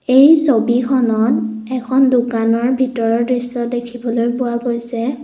এই ছবিখনত এখন দোকানৰ ভিতৰৰ দৃশ্য দেখিবলৈ পোৱা গৈছে।